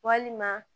Walima